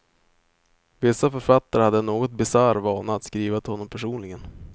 Vissa författare hade en något bisarr vana att skriva till honom personligen.